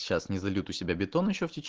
сейчас не зайду себя бетона